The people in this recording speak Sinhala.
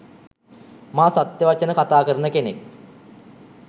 මා සත්‍ය වචන කතා කරන කෙනෙක්.